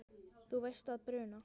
Þú veist að bruna